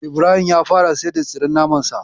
Ibrahim ya fara siyar da tsiren naman Sa.